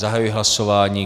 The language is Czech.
Zahajuji hlasování.